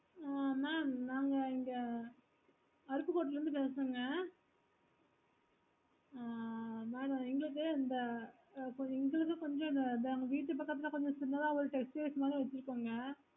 ஆஹ் mam நாங்க இங்க கருப்பு கோட்டைல இருந்து பேசுறோங்க ஆஹ் madam எங்களுக்கு கொஞ்ச விட்டு பக்கதுல கொஞ்ச சின்னதா ஒரு textiles மாதிரி வெச்சிருக்கோங்க